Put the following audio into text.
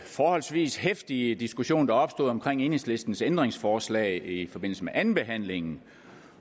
forholdsvis heftige diskussion der opstod omkring enhedslistens ændringsforslag i forbindelse med andenbehandlingen